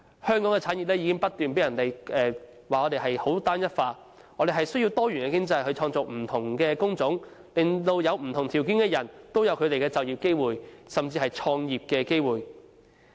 香港的產業被指單一化，我們需要多元經濟去創造不同的工種，令不同條件的人都有就業機會，甚至創業機會。